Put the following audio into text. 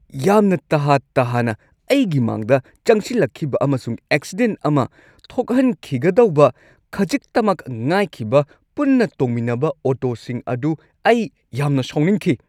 ꯌꯥꯝꯅ ꯇꯍꯥ-ꯇꯍꯥꯅ ꯑꯩꯒꯤ ꯃꯥꯡꯗ ꯆꯪꯁꯤꯜꯂꯛꯈꯤꯕ ꯑꯃꯁꯨꯡ ꯑꯦꯛꯁꯤꯗꯦꯟꯠ ꯑꯃ ꯊꯣꯛꯍꯟꯈꯤꯒꯗꯧꯕ ꯈꯖꯤꯛꯇꯃꯛ ꯉꯥꯏꯈꯤꯕ ꯄꯨꯟꯅ ꯇꯣꯡꯃꯤꯟꯅꯕ ꯑꯣꯇꯣꯁꯤꯡ ꯑꯗꯨ ꯑꯩ ꯌꯥꯝꯅ ꯁꯥꯎꯅꯤꯡꯈꯤ꯫